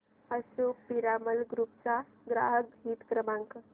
Ashok Piramal group चा ग्राहक हित क्रमांक